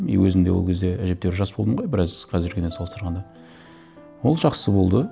и өзім де ол кезде әжептәуір жас болдым ғой біраз қазіргіден салыстырғанда ол жақсы болды